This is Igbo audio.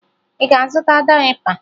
Ị ga-azụta dayịpa?